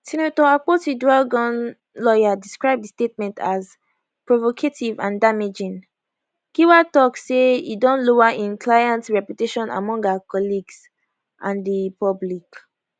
senator akpotiuduaghan lawyer describe di statement as provocative and damaging giwa tok say e don lower im client reputation among her colleagues and di public